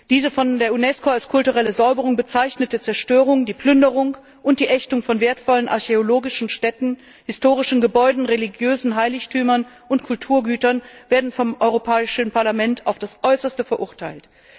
Diese von der Unesco als kulturelle Säuberung bezeichnete Zerstörung, die Plünderung und die Ächtung von wertvollen archäologischen Stätten, historischen Gebäuden, religiösen Heiligtümern und Kulturgütern werden vom Europäischen Parlament auf das Äußerste verurteilt.